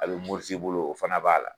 A bɛ muruti i bolo o fana b'a la